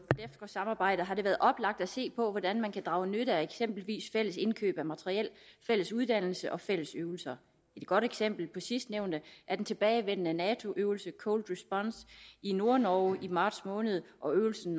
samarbejdet har det været oplagt at se på hvordan man kan drage nytte af eksempelvis fælles indkøb af materiel fælles uddannelse og fælles øvelser et godt eksempel på sidstnævnte er den tilbagevendende nato øvelse cold response i nordnorge i marts måned og øvelsen